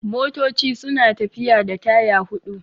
Motoci suna tafiya da taya hudu